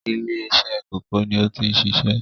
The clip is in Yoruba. ilé-isẹ́ kòkó ni ó ti ń sisẹ́?